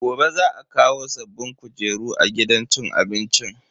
Gobe za a kawo sabbin kujeru a gidan cin abincin.